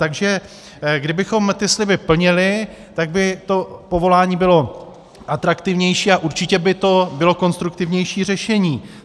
Takže kdybychom ty sliby plnili, tak by to povolání bylo atraktivnější a určitě by to bylo konstruktivnější řešení.